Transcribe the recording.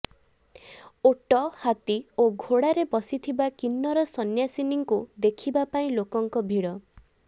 ଓଟ ହାତୀ ଓ ଘୋଡାରେ ବସିଥିବା କିନ୍ନର ସନ୍ୟାସିନୀଙ୍କୁ ଦେଖିବା ପାଇଁ ଲୋକଙ୍କ ଭିଡ